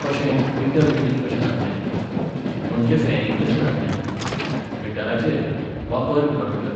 कशें, meter reading कशें जातलें? म्हणजें फॅरिंग कशें जातलें? मिटराचेर, वा पर किलोमिटर?